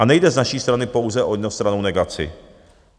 A nejde z naší strany pouze o jednostrannou negaci.